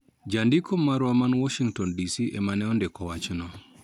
Jandiko marwa ma Washington DC emane ondiko wachno